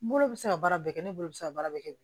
N bolo bɛ se ka baara bɛɛ kɛ ne bolo se ka baara bɛɛ kɛ